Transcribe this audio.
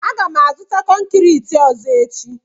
Aga m azụta konkriiti ọzọ echi.